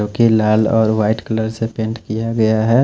जो कि लाल और व्हाइट कलर से पेंट किया गया है।